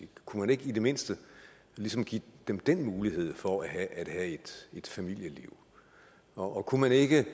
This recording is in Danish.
kunne man ikke i det mindste ligesom give dem den mulighed for at have et familieliv og kunne man ikke